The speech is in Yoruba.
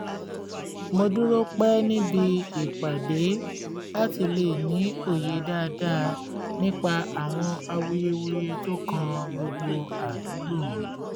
mo dúró pẹ́ níbi ìpàdé láti lè ní òye dáadáa nípa àwọn awuyewuye tó kàn gbogbo àdúgbò